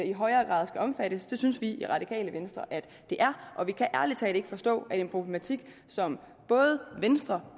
i højere grad skal omfattes det synes vi i radikale venstre at det er og vi kan ærlig talt ikke forstå at en problematik som både venstre